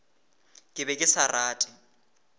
ke be ke sa rate